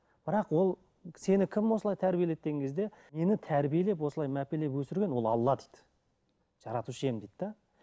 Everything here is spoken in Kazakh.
бірақ ол сені кім осылай тәрбиеледі деген кезде мені тәрбиелеп осылай мәпелеп өсірген ол алла дейді жаратушы ием дейді де